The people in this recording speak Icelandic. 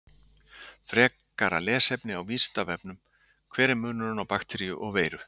Frekara lesefni á Vísindavefnum Hver er munurinn á bakteríu og veiru?